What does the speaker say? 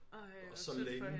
Ej hvor synd for hende